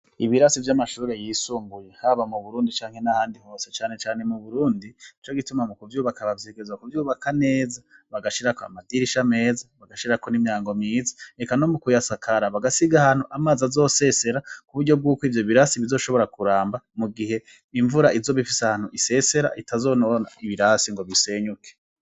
Ibirasi vy'amashuri yisumbuye haba mu Burundi canke n'ahandi hose, cane cane mu Burundi nico gituma mu kuvyubaka bavyigeza kuvyubaka neza, bagashirako amadirisha meza, bagashirako n'imyango myiza, eka no mu kuyasakara bagasiga ahantu amazi azosesera, ku buryo bw'uko ivyo birasi bizoshobora kuramba mu gihe imvura izoba ifise ahantu isesera, itazonona ibirasi ngo bisenyuke.